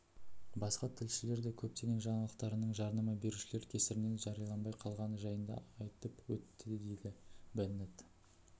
басқа тілшілер де көптеген жаңалықтарының жарнама берушілер кесірінен жарияланбай қалғаны жайында айтып өттідейді беннет